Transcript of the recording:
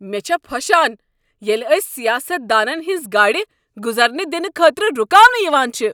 مےٚ چھےٚ پھۄشان ییٚلہ أسۍ سیاست دانن ہنٛزٕ گاڑِ گزرنہٕ دنہٕ خٲطرٕ رکاونہٕ یوان چھٕ۔